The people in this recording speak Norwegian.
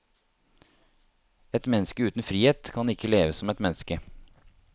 Et menneske uten frihet kan ikke leve som et menneske.